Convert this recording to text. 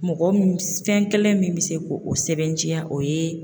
Mɔgɔ mun fɛn kelen min be se k'o sɛbɛnciya o ye